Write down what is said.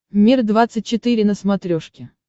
мир двадцать четыре на смотрешке